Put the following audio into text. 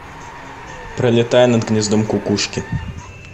пролетая над гнездом кукушки